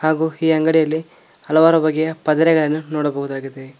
ಹಾಗು ಈ ಅಂಗಡಿಯಲ್ಲಿ ಹಲವಾರು ಬಗೆಯ ಪದರೆಗಳನ್ನು ನೋಡಬಹುದಾಗಿದೆ.